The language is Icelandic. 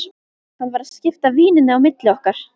Hann var að skipta víninu á milli okkar!